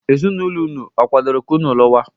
Ezinụlọ unu akwadoro ka unu luwa?